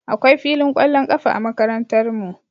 Akwai filin ƙwallon ƙafa a Makarantarmu